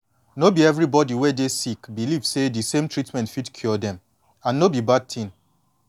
no be everybody wey dey sick believe say de same treatment fit cure dem and no be bad thin